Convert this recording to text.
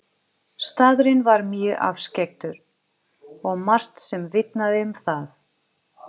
Staðurinn var mjög afskekktur og margt sem vitnaði um það.